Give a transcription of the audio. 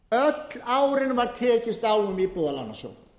öll árin var tekist á um íbúðalánasjóð